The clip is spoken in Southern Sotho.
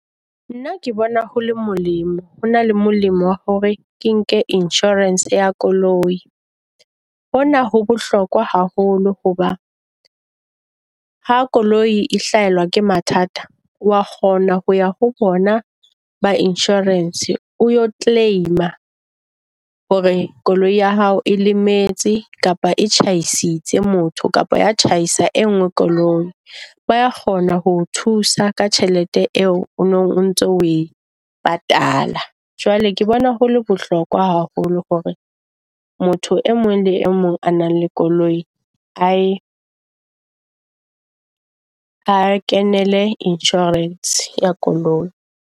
Nna ke bona ho le molemo ho na le molemo hore ke nke insurance ya koloi. Hona ho bohlokwa haholo hoba ha koloi e hlahelwa ke mathata, wa kgona ho ya ho bona ba insurance o yo claim-a hore koloi ya hao e lemetse kapa e tjhaisitse motho. Kapa ya tjhaisa e nngwe koloi ba kgona ho thusa ka tjhelete eo ono ntso we patala, jwale ke bona hole bohlokwa haholo hore motho e mong le e mong a nang le koloi a e a kenele insurance ya koloi.